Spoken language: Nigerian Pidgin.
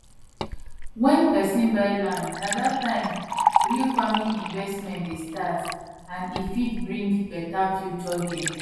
wen person buy land na that time real farming investment dey start and e fit bring better future gain